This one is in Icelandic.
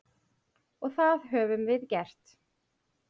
Og það höfum við gert.